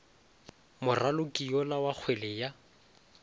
moraloki yola wa kgwele ya